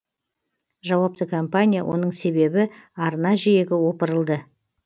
жауапты компания оның себебі арна жиегі опырылды